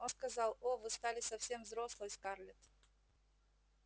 он сказал о вы стали совсем взрослой скарлетт